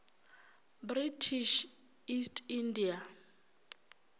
british east india